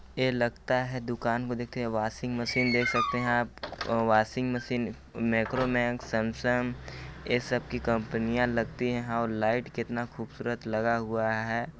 ये लगता है दुकान को देख के वाशिंग मशीन देख सकते है अ वाशिंग मशीन मेक्रोमेक्स सैमसंग ये सब की कंपनियां लगती है और लाईट कितना खुबसूरत लगा हुआ हैं।